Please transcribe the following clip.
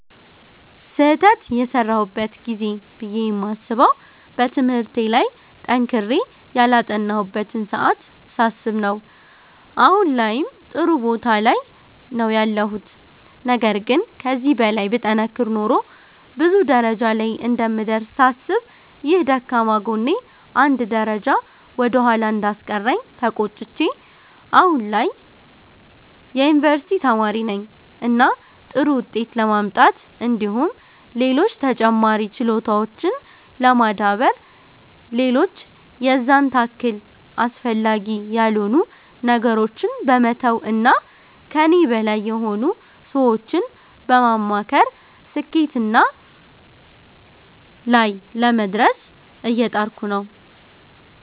ስህተት የሰራሁበት ጊዜ ብዬ የማስበዉ በትምህርቴ ላይ ጠንክሬ ያላጠናሁበትን ሰዓት ሳስብ ነዉ አሁን ላይም ጥሩ ቦታ ላይ ነዉ ያለሁት ነገር ግን ከዚህ በላይ ብጠነክር ኖሮ ብዙ ደረጃ ላይ እንደምደርስ ሳስብ ይህ ደካማ ጎኔ አንድ ደረጃ ወደ ኋላ እንዳስቀረኝ ተቆጭቼ አሁን ላይ የዩኒቨርሲቲ ተማሪ ነኝ እና ጥሩ ዉጤት ለማምጣት እንዲሁም ሌሎች ተጨማሪ ችሎታዎችን ለማዳበር ሌሎች የዛን ታክል አስፈላጊ ያልሆኑ ነገሮችን በመተዉ እና ከኔ በላይ የሆኑ ሰዎችን በማማከር ስኬትና ላይ ለመድረስ እየጣርኩ ነዉ።